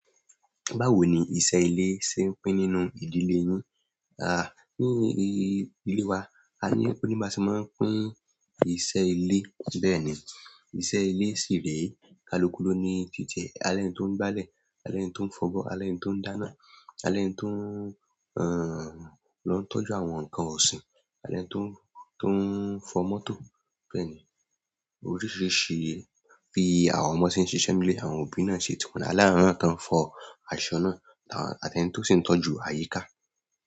Báwo ni iṣẹ́ ilé ṣe ń pín nínú ìdílé e yín? Ah, ní ilé wa, a ní, óní baṣe máa ń pín iṣẹ́ ilé. Bẹ́ẹ̀ ni, iṣẹ́ ilé sì ré, kálukú ló ní titi ẹ̀, alẹ́ni tó ń gbá lẹ̀, alẹ́ni tó ń fọbọ́, alẹ́ni tó ń dáná, alẹ́ni tó, ẹ́, lọ ń tọ́jú àwọn nǹkan ọ̀sìn, alẹ́ni tó, tó ń fọ mọ́tò. Bẹ́ẹ̀ ni, oríṣiríṣi bí i àwọn ọmọ ṣe ń ṣiṣẹ́ nílé, àwọn òbí náà ń ṣe tiwọn aláwọn náà tán ń fọ aṣọ náà, àti ẹni tó sì ń tọ́jú àyíká.